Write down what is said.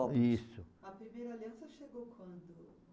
Isso. A primeira aliança chegou quando?